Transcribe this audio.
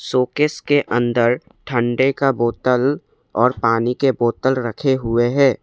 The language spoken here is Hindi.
शो केस के अंदर ठंडे का बोतल और पानी के बोतल रखे हुए हैं।